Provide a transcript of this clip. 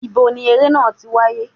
Ibo ni eré náà ti wáyé?